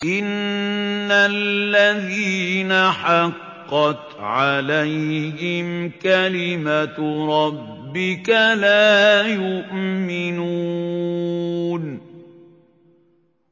إِنَّ الَّذِينَ حَقَّتْ عَلَيْهِمْ كَلِمَتُ رَبِّكَ لَا يُؤْمِنُونَ